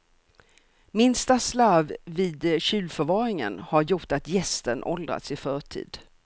Minsta slarv vid kylförvaringen har gjort att jästen åldrats i förtid.